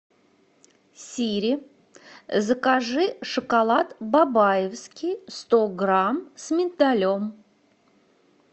сири закажи шоколад бабаевский сто грамм с миндалем